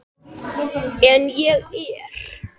En ég er.